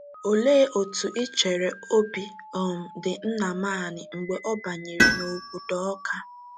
Olee otú i chere obi um dị Nnamani mgbe ọ banyere n’obodo Awka?